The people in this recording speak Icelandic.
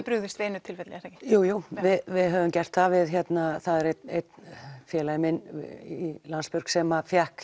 brugðist við einu tilfelli er það ekki jú við höfum gert það það er einn félagi minn í Landsbjörg sem fékk